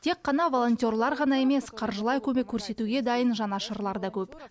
тек қана волонтерлар ғана емес қаржылай көмек көрсетуге дайын жанашырлар да көп